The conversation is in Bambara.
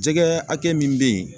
Jɛgɛ hakɛ min be ye